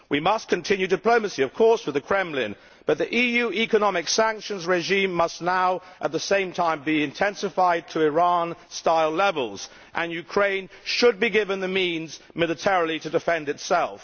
We must continue diplomacy, of course, with the Kremlin, but the EU economic sanctions regime must now, at the same time, be intensified to Iran style levels and Ukraine should be given the means militarily to defend itself.